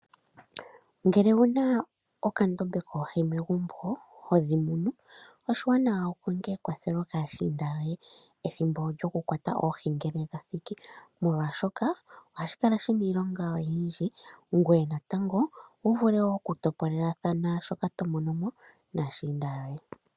Ngele owuna okandama koohi megumbo hodhimunu oshiwanawa wukonge ekwatho kaashiinda yoye ethimbo lyokukwata oohi ngele lya thiki ,molwaashoka ohashi kala shina iilonga oyindji ngoye natango wu wape ngaa oku topolelathana shoka tomono naashiinda yoye.